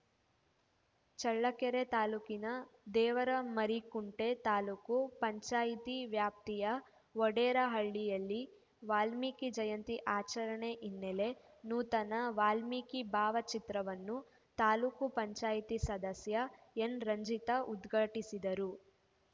ಚಳ್ಳಕೆರೆ ತಾಲೂಕಿನ ದೇವರಮರಿಕುಂಟೆ ತಾಲೂಕು ಪಂಚಾಯಿತಿ ವ್ಯಾಪ್ತಿಯ ವಡೇರಹಳ್ಳಿಯಲ್ಲಿ ವಾಲ್ಮೀಕಿ ಜಯಂತಿ ಆಚರಣೆ ಹಿನ್ನೆಲೆ ನೂತನ ವಾಲ್ಮೀಕಿ ಭಾವಚಿತ್ರವನ್ನು ತಾಲೂಕು ಪಂಚಾಯಿತಿ ಸದಸ್ಯೆ ಎನ್‌ರಂಜಿತ ಉದ್ಘಾಟಿಸಿದರು